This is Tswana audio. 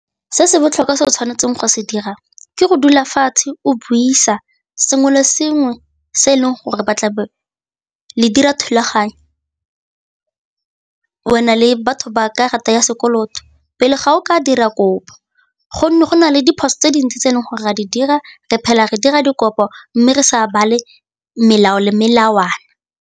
Se se botlhokwa se o tshwanetseng go se dira ke go dula fatshe o buisa sengwe le sengwe se e leng gore ba tla be le dira thulaganyo, wena le batho ba karata ya sekoloto pele ga o ka dira kopo gonne go na le diphoso tse dintsi tse e leng gore ra di dira re phela re dira dikopo mme re sa bale melao le melawana.